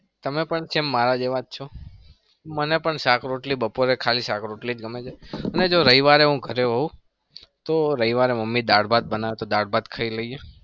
તમે પણ same મારા જેવા જ છો અને જો રવિવારે હું ઘરે હોઉં તો રવિવારે મમ્મી દાળ ભાત ખાઈ લઇ એ